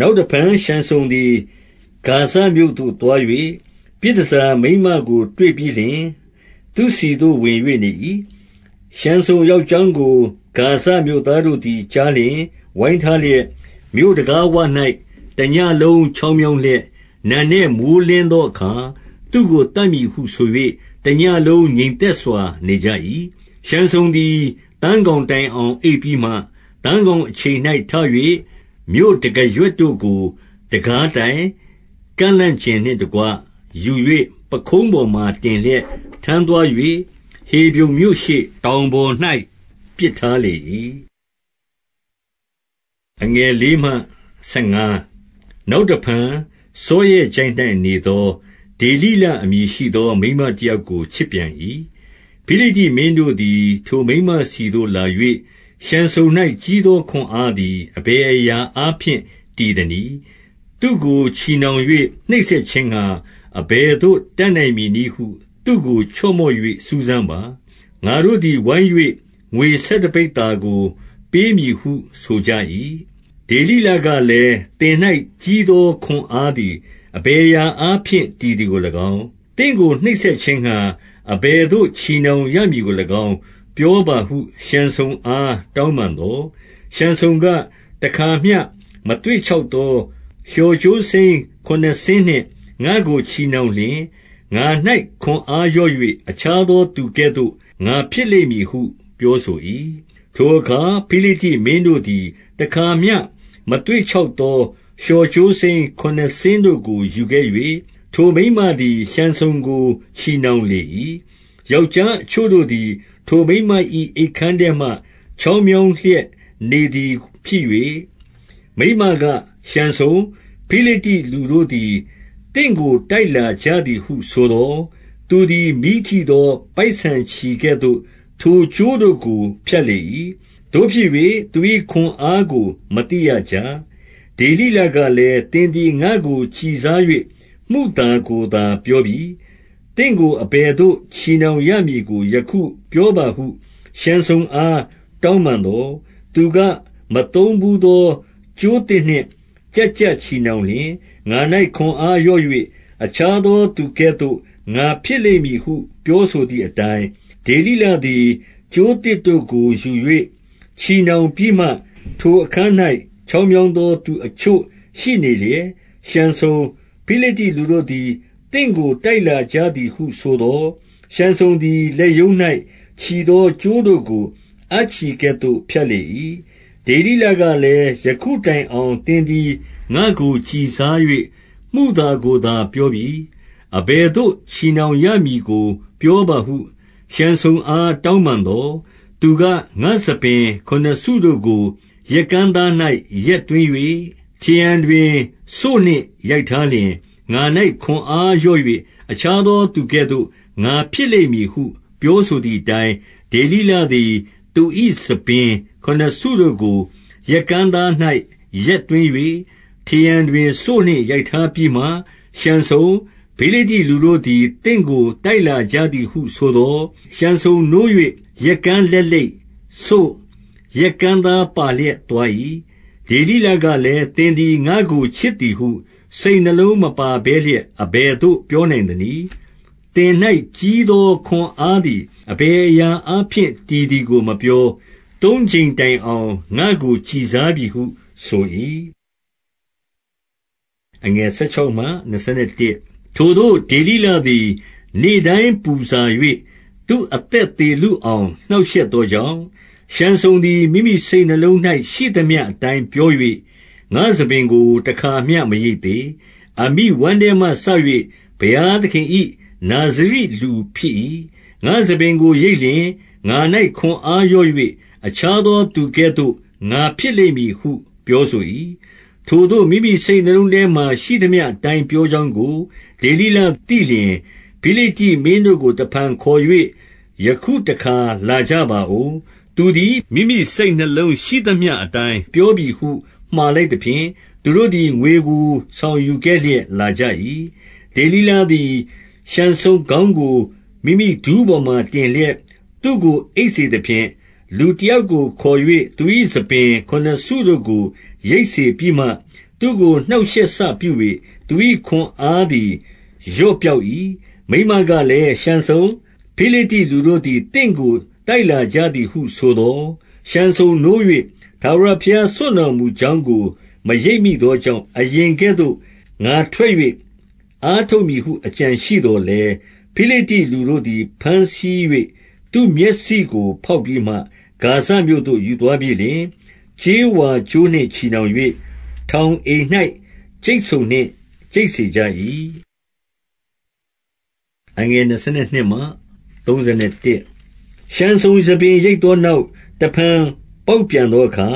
နောက်တဖန် ရှံဆုန်သည် ဂါဇမြို့သို့ သွား၍ ပြည်တန်ဆာမိန်းမကို တွေ့ပြီးလျှင် သူ့ဆီသို့ ဝင်၍ နေ၏။ 2 ရှံဆုန်ရောက်ကြောင်းကို ဂါဇမြို့သားတို့သည် ကြားလျှင် ဝိုင်းထားလျက်၊ မြို့တံခါးဝ၌ တညဉ့်လုံး ချောင်းမြောင်းလျက်၊ နံနက်မိုဃ်းလင်းသောအခါ သူ့ကို သတ်မည်ဟု ဆို၍ တညဉ့်လုံး ငြိမ်သက်စွာ နေကြ၏။ 3 ရှံဆုန်သည် သန်းခေါင်တိုင်အောင် အိပ်ပြီးမှ၊ သန်းခေါင်အချိန်၌ ထ၍ မြို့တံခါးရွက်တို့ကို၊ တံခါးတိုင် ကန့်လန့်ကျင်နှင့်တကွ ယူ၍ ပခုံးပေါ်မှာ တင်လျက် ထမ်းသွား၍၊ ဟေဗြုန်မြို့ရှေ့၊ တောင်ပေါ်၌ ပစ်ထားလေ၏။ 4 နောက်တဖန် စောရက်ချိုင့်၌နေသော ဒေလိလအမည်ရှိသော မိန်းမတယောက်ကို ချစ်ပြန်၏။ 5 ဖိလိတ္တိမင်းတို့သည် ထိုမိန်းမဆီသို့ လာ၍၊ ရှံဆုန်၌ ကြီးသော ခွန်အားသည် အဘယ်အရာအားဖြင့် တည်သနည်း၊ သူ့ကို ချည်နှောင်၍ နှိပ်စက်ခြင်းငှါ အဘယ်သို့ တတ်နိုင်မည်နည်းဟု သူ့ကို ချော့မော့၍ စူးစမ်းပါ။ ငါတို့သည် ဝိုင်း၍ ငွေဆယ်တပိဿာကို ပေးမည်ဟု ဆိုကြ၏။ 6 ဒေလိလကလည်း၊ သင်၌ကြီးသော ခွန်အားသည် အဘယ်အရာအားဖြင့် တည်သည်ကို၎င်း၊ သင့်ကို နှိပ်စက်ခြင်းငှါ အဘယ်သို့ ချည်နှောင်ရမည်ကို၎င်း ပြောပါဟု ရှံဆုန်အား တောင်းပန်သော်၊ 7 ရှံဆုန်က၊ တခါမျှ မသွေ့ခြောက်သော လျှော်ကြိုးစိမ်းခုနစ်စင်းနှင့် ငါ့ကို ချည်နှောင်လျှင် ငါ၌ ခွန်အားလျော့၍ အခြားသောသူကဲ့သို့ ငါဖြစ်လိမ့်မည်ဟု ပြောဆို၏။ 8 ထိုအခါ ဖိလိတ္တိမင်းတို့သည် တခါမျှ မသွေ့ခြောက်သော လျှော်ကြိုးစိမ်းခုနစ်စင်းတို့ကို ယူခဲ့၍၊ ထိုမိန်းမသည် ရှံဆုန်ကို ချည်နှောင်လေ၏။ 9 ယောက်ျားအချို့တို့သည် ထိုမိန်းမ၏ အိပ်ခန်းထဲမှ ချောင်းမြောင်းလျက် နေသည်ဖြစ်၍ မိန်းမက၊ ရှံဆုန်၊ ဖိလိတ္တိလူတို့သည် သင့်ကို တိုက်လာကြသည်ဟုဆိုသော်၊ သူသည် မီးထိသော ပိုက်ဆန်ချည်ကဲ့သို့ ထိုကြိုးတို့ကို ဖြတ်လေ၏။ သို့ဖြစ်၍ သူ၏ခွန်အားကို မသိရကြ။ 10 ဒေလိလကလည်း၊ သင်သည် ငါ့ကို ကျီစား၍ မုသာကိုသာ ပြောပြီ။ သင့်ကို အဘယ်သို့ ချည်နှောင် ရမည်ကို ယခုပြောပါဟု ရှံဆုန်အား တောင်းပန်သော်၊ 11 သူက၊ မသုံးဘူးသော ကြိုးသစ်နှင့် ကျပ်ကျပ်ချည်နှောင်လျှင် ငါ၌ ခွန်အားလျော့၍ အခြားသော သူကဲ့သို့ ငါဖြစ်လိမ့်မည်ဟု ပြောဆိုသည်အတိုင်း၊ 12 ဒေလိလသည် ကြိုးသစ်တို့ကို ယူ၍ ချည်နှောင်ပြီးမှ၊ ထိုအခန်း၌ ချောင်းမြောင်းသော သူအချို့ ရှိနေလျက်၊ ရှံဆုန်၊ ဖိလိတ္တိလူတို့သည် သင့်ကို တိုက်လာကြသည်ဟုဆိုသော်၊ ရှံဆုန်သည် လက်ရုံး၌ ချည်သော ကြိုးတို့ကို အပ်ချည်ကဲ့သို့ ဖြတ်လေ၏။ 13 ဒေလိလကလည်း၊ ယခုတိုင်အောင် သင်သည် ငါ့ကို ကျီစား၍ မုသာကိုသာ ပြောပြီ။ အဘယ်သို့ ချည်နှောင်ရမည်ကို ပြောပါဟု ရှံဆုန်အား တောင်းပန်သော်၊ သူက၊ ငါ့ဆံပင် ခုနစ်စုတို့ကို ရက်ကန်းသား၌ ရက်သွင်း၍ ထရံတွင်စို့နှင့် ရိုက်ထားလျှင် ငါ၌ ခွန်အားလျော့၍ အခြားသော သူကဲ့သို့ ငါဖြစ်လိမ့်မည်ဟု ပြောဆိုသည်အတိုင်း၊ 14 ဒေလိလသည် သူ၏ဆံပင်ခုနစ်စုတို့ကို ရက်ကန်းသား၌ ရက်သွင်း၍ ထရံတွင်စို့နှင့် ရိုက်ထားပြီးမှ၊ ရှံဆုန်၊ ဖိလိတ္တိလူတို့သည် သင့်ကို တိုက်လာကြသည်ဟုဆိုသော်၊ ရှံဆုန်နိုး၍ ရက်ကန်းလက်လိပ်၊ စို့၊ ရက်ကန်းသားပါလျက် သွား၏။ 15 ဒေလိလကလည်း၊ သင်သည် ငါ့ကို ချစ်သည်ဟု စိတ်နှလုံးမပါဘဲလျက် အဘယ်သို့ ပြောနိုင်သနည်း။ သင့်၌ ကြီးသော ခွန်အားသည် အဘယ်အရာအားဖြင့် တည်သည်ကို မပြော။ သုံးကြိမ်တိုင်အောင် ငါ့ကို ကျီစားပြီဟု ဆို၏။ 16 ထိုသို့ ဒေလိလသည် နေ့တိုင်း ပူဆာ၍ သူအသက် သေလုအောင် နှောင့်ရှက်သောကြောင့်၊- 17 ရှံဆုန်သည် မိမိစိတ်နှလုံး၌ ရှိသမျှအတိုင်းပြော၍၊ ငါ့ဆံပင်ကို တခါမျှ မရိတ်သေး။ အမိဝမ်းထဲမှစ ၍ ဘုရားသခင်၏ နာဇရိလူဖြစ်၏။ ငါ့ဆံပင်ကို ရိတ်လျှင် ငါ၌ ခွန်အားလျော့၍ အခြားသောသူ ကဲ့သို့ ငါဖြစ်လိမ့်မည်ဟု ပြောဆို၏။ 18 ထိုသို့ မိမိစိတ်နှလုံးထဲမှာ ရှိသမျှအတိုင်း ပြောကြောင်းကို ဒေလိလ သိလျှင်၊ ဖိလိတ္တိမင်းတို့ကို တဖန်ခေါ်၍၊ ယခုတခါ လာကြပါဦး။ သူသည် မိမိစိတ်နှလုံးရှိသမျှအတိုင်း ပြောပြီဟု မှာလိုက်သဖြင့်၊ သူတို့သည် ငွေကို ဆောင်ယူခဲ့လျက် လာကြ၏။ 19 ဒေလိလသည် ရှံဆုန်ခေါင်းကို မိမိဒူးပေါ်မှာ တင်လျက် သူကို အိပ်စေသဖြင့်၊ လူတယောက်ကို ခေါ်၍ သူ၏ ဆံပင်ခုနစ်စုတို့ကို ရိတ်စေပြီးမှ၊ သူကို နှောင့်ရှက်စပြု၍ သူ၏ ခွန်အားသည် လျော့ ပျောက်၏။ 20 မိန်းမကလည်း၊ ရှံဆုန်၊ ဖိလိတ္တိလူတို့သည် သင့်ကို တိုက်လာကြသည်ဟု ဆိုသော်၊ ရှံဆုန်နိုး၍ ထာဝရ ဘုရား စွန့်တော်မူကြောင်းကို မရိပ်မိသောကြောင့်၊ အရင်ကဲ့သို့ ငါထွက်၍ အားထုတ်မည်ဟု အကြံ ရှိသော်လည်း၊- 21 ဖိလိတ္တိလူတို့သည် ဘမ်းဆီး၍ သူ့မျက်စိကို ဖောက်ပြီးမှ ဂါဇမြို့သို့ ယူသွားပြီးလျှင် ကြေးဝါကြိုးနှင့် ချည်နှောင်၍ ထောင်အိမ်၌ ကြိတ်ဆုံနှင့် ကြိတ်စေကြ၏။ 22 ရှံဆုန် ဆံပင်ရိတ်သောနောက်၊ တဖန် ပေါက်ပြန်သောအခါ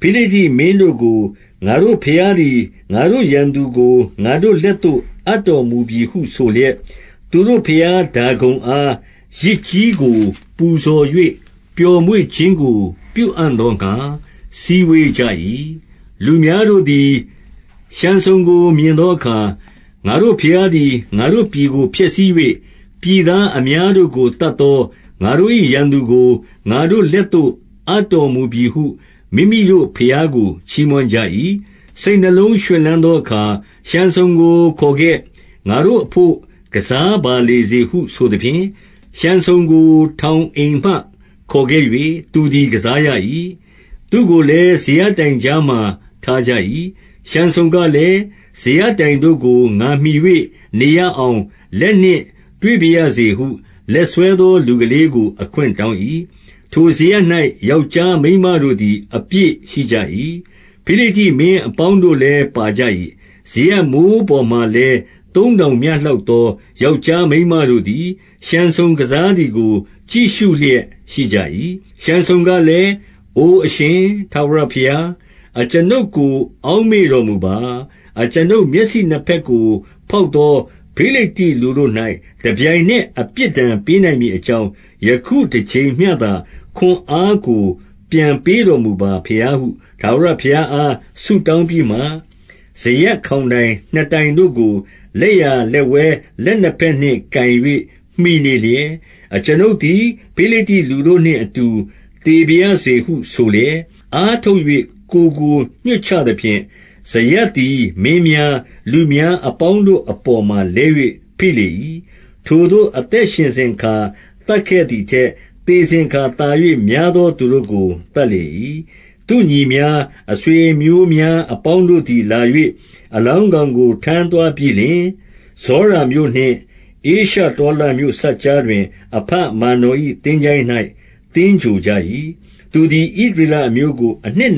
၊- 23 ဖိလိတ္တိမင်းတို့ကို၊ ငါတို့ဘုရားသည် ငါတို့ ရန်သူကို ငါတို့လက်သို့ အပ်တော်မူပြီဟု ဆိုလျက်၊ သူတို့ ဘုရား ဒါဂုန်အားယဇ်ကြီးကို ပူဇော်၍ ပျော်မွေ့ခြင်းကို ပြုအံ့သောငှါ စည်းဝေးကြ၏။ 24 လူများတို့သည် ရှံဆုန်ကို မြင်သောအခါ၊ ငါတို့ဘုရားသည် ငါတို့ပြည်ကို ဖျက်ဆီး၍၊ ပြည်သားအများ တို့ကို သတ်သော ငါတို့၏ ရန်သူကို၊ ငါတို့လက်သို့ အပ်တော်မူပြီဟု မိမိတို့ဘုရားကို ချီးမွမ်းကြ၏။ 25 စိတ်နှလုံးရွှင်လန်းသောအခါ၊ ရှံဆုန်ကို ခေါ်ခဲ့။ ငါတို့အဘို့ ကစားပါလေစေဟု ဆိုသဖြင့်၊ ရှံဆုန်ကို ထောင်အိမ်မှ ခေါ်ခဲ့၍ သူသည် ကစားရ၏။ သူကိုလည်း စရပ်တိုင်ကြားမှာ ထားကြ၏။ 26 ရှံဆုန်ကလည်း၊ စရပ်တိုင်တို့ကို ငါမှီ၍ နေရအောင် လက်နှင့်တွေ့ပါရစေဟု လက်ဆွဲသော လူကလေး ကို အခွင့်တောင်း၏။- 27 ထိုစရပ်၌ ယောက်ျားမိန်းမတို့သည် အပြည့်ရှိကြ၏။ ဖိလိတ္တိမင်းအပေါင်းတို့လည်း ပါကြ၏။ စရပ်မိုး ပေါ်မှာလည်း သုံးထောင်မျှလောက်သော ယောက်ျားမိန်းမတို့သည် ရှံဆုန်ကစားသည်ကို ကြည့်ရှု လျက်ရှိကြ၏။- 28 ရှံဆုန်ကလည်း၊ အို အရှင်ထာဝရဘုရား၊ အကျွန်ုပ်ကို အောက်မေ့တော်မူပါ။ အကျွန်ုပ်မျက်စိနှစ် ဘက်ကို ဖောက်သော ဖိလိတ္တိလူတို့၌ တပြိုင်နက်အပြစ်ဒဏ် ပေးနိုင်မည်အကြောင်း၊ ယခုတကြိမ်မျှ သာ ခွန်အားကို ပြန်ပေးတော်မူပါဘုရားဟု ထာဝရဘုရားအား ဆုတောင်းပြီးမှ၊- 29 စရပ်ခေါင်တိုင်နှစ်တိုင်တို့ကို လက်ျာလက်၊ လက်ဝဲလက်နှစ်ဘက်နှင့်ကိုင်၍ မှီနေလျက်၊- 30 အကျွန်ုပ်သည် ဖိလိတ္တိလူတို့နှင့် အတူသေပါရစေဟု ဆိုလျက်၊ အားထုတ်၍ ကိုယ်ကိုညွှတ်ချသဖြင့်၊ စရပ်သည် မင်းများ၊ လူများအပေါင်းတို့အပေါ်မှာ လဲ၍ ဖိလေ၏။ ထိုသို့ အသက်ရှင်စဉ်အခါ သတ်ခဲ့သည်ထက် သေစဉ်အခါ သာ၍များသော သူတို့ကို သတ်လေ၏။ 31 သူ့ညီများ၊ အဆွေအမျိုးများ အပေါင်းတို့သည် လာ၍ အလောင်းကောင်ကို ထမ်းသွားပြီးလျှင်၊ ဇောရာမြို့နှင့် ဧရှတောလမြို့စပ်ကြားတွင် အဘမာနော်၏ သင်္ချိုင်း၌ သင်္ဂြိုလ်ကြ၏။ သူသည် ဣသရေလအမျိုးကို အနှစ်